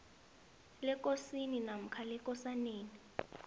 lekosini namkha lekosaneni